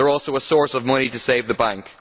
they are also a source of money to save the bank.